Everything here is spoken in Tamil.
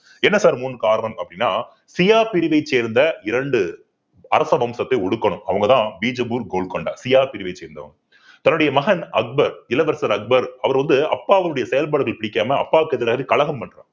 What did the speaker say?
என்ன sir மூன்று காரணம் அப்படின்னா ஷியா பிரிவைச் சேர்ந்த இரண்டு அரச வம்சத்தை ஒடுக்கணும் அவங்கதான் பிஜப்பூர் கோல்கண்டா ஷியா பிரிவை சேர்ந்தவங்க தன்னுடைய மகன் அக்பர் இளவரசர் அக்பர் அவர் வந்து அப்பாவினுடைய செயல்பாடுகள் பிடிக்காம அப்பாவுக்கு எதிராக கழகம் பண்றாரு